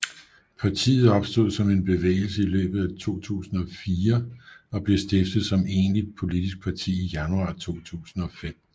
Partiet opstod som bevægelse i løbet af 2004 og blev stiftet som egentligt politisk parti i januar 2005